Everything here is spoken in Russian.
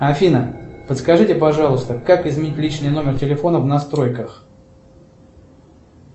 афина подскажите пожалуйста как изменить личный номер телефона в настройках